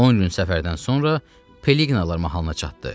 10 gün səfərdən sonra Peliqnalar mahalına çatdı.